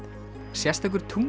sérstakur